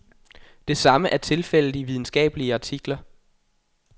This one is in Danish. Det samme er tilfældet i videnskabelige artikler.